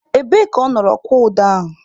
Ebee ka ọ nọrọ kwụọ ụdọ ahụ?